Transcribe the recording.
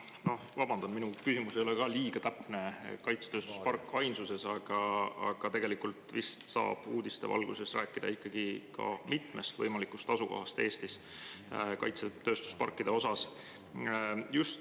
No ma vabandan, et minu küsimus ei ole ka liiga täpne – sõna "kaitsetööstuspark" on ainsuses –, aga tegelikult uudiste valguses saab vist rääkida Eestis mitmest võimalikust kaitsetööstuspargi asukohast.